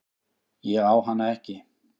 Ég á hana ekki.